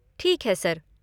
ठीक है, सर।